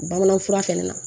Bamanan fura fɛnɛ na